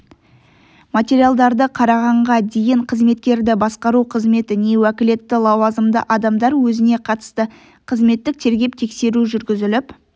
материалдарды қарағанға дейін қызметкерді басқару қызметі не уәкілетті лауазымды адамдар өзіне қатысты қызметтік тергеп-тексеру жүргізіліп